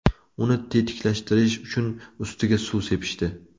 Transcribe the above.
Uni tetiklashtirish uchun ustiga suv sepishdi.